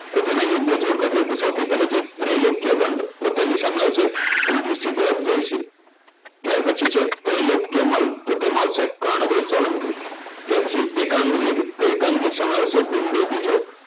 તો તેને યોગ્ય જોડકાં જોડો સૌથી પહેલા છે ત્રીલોકયગંદ તો તેની સામે આવશે ત્રીજો સિધ્ધરાજ જયસિંહ ત્યાર પછી છે ત્રેલોક્યમલ તો તેમાં આવશે કર્ણદેવ સોલંકી એકાંગવિર તો એકાંગવિર શામાં આવશે ભીમદેવ બીજો